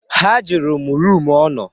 Ha jụrụ m rum ọ nọ.